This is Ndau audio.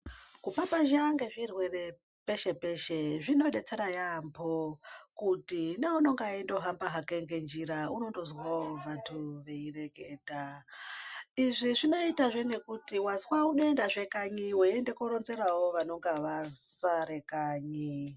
Kupapazha kwezvirwere peshe peshe zvinobetsere yabhoo kuti neunenge chindohamba nenjira unondonzwo antu, vaireketa ,izvi zvinoita zvee nekuti anzwa unoenda zvekanyi weiende kunorodzera vanonga vasere kanyi.